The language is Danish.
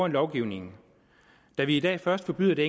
af lovgivning da vi i dag først forbyder det